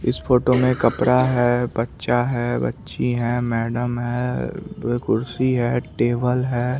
इस फोटो में कपड़ा है बच्चा है बच्ची है मैडम है दो कुर्सी है टेबल है।